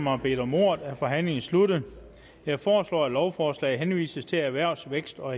har bedt om ordet er forhandlingen sluttet jeg foreslår at lovforslaget henvises til erhvervs vækst og